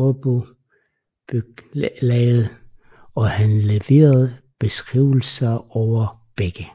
Raabygdelaget og har leveret beskrivelser over begge